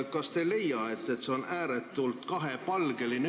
Kas te ei leia, et see on ääretult kahepalgeline?